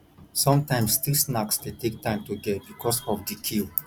sometimes street snacks de take time to get because of di queue